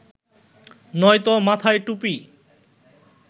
নয়তো মাথায় টুপি